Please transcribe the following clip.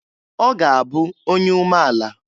Ọ ga-abụ onye umeala.